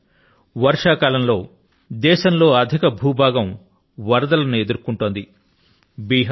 మిత్రులారా వర్షాకాలంలో దేశం లో అధిక భూ భాగం వరదల ను ఎదుర్కొంటోంది